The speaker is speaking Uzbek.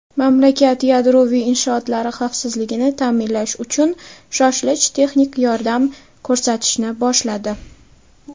mamlakat yadroviy inshootlari xavfsizligini ta’minlash uchun shoshilinch texnik yordam ko‘rsatishni boshladi.